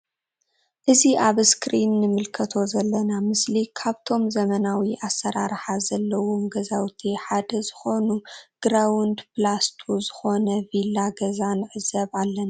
እዚ ኣብ ኣስክሪን ኣንምልከቶ ዘለና ምስሊ ካብቶም ዘመናዊ ኣሰራርሓ ዘለዎም ገዛውቲ ሓደ ኮይኑ ግራውንድ ፕላስ ቱ ዝኮነ ቪላ ገዛ ንዕዘብ ኣለና።